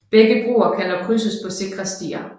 Begge broer kan dog krydses på sikre stier